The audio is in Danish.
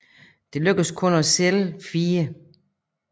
Det lykkedes kun at sælge fire